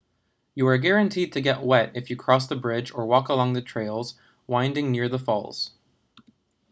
you are guaranteed to get wet if you cross the bridge or walk along the trails winding near the falls